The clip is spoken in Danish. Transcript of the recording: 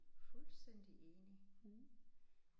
Fuldstændig enig